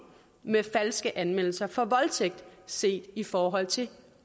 med falske anmeldelser for voldtægt set i forhold til